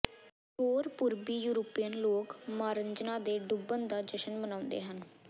ਹੋਰ ਪੂਰਬੀ ਯੂਰਪੀਅਨ ਲੋਕ ਮਾਰਜ਼ੰਨਾ ਦੇ ਡੁੱਬਣ ਦਾ ਜਸ਼ਨ ਮਨਾਉਂਦੇ ਹਨ